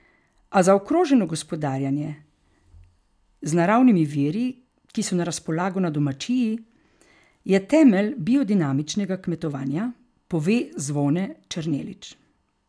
A zaokroženo gospodarjenje z naravnimi viri, ki so na razpolago na domačiji, je temelj biodinamičnega kmetovanja, pove Zvone Černelič.